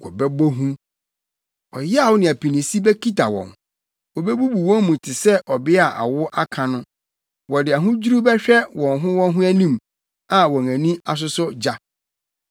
Wɔbɛbɔ hu, ɔyaw ne apinisi bekita wɔn; wobebubu wɔn mu te sɛ ɔbea a awo aka no. Wɔde ahodwiriw bɛhwɛ wɔn ho wɔn ho anim, a wɔn ani asosɔ gya.